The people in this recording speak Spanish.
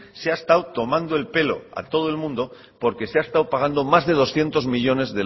se ha estado tomando el pelo a todo el mundo porque se ha estado pagando más de doscientos millónes